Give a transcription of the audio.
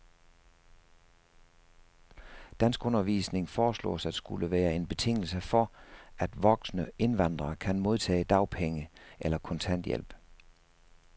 Danskundervisning foreslås at skulle være en betingelse for, at voksne indvandrere kan modtage dagpenge eller kontanthjælp.